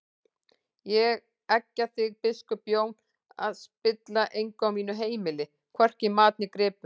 Ég eggja þig biskup Jón að spilla engu á mínu heimili, hvorki mat né gripum!